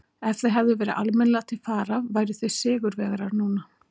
Ef þið hefðuð verið almennilega til fara væruð þið sigurvegarar núna.